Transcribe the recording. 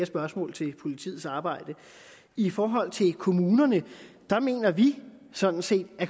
spørgsmål til politiets arbejde i forhold til kommunerne mener vi sådan set at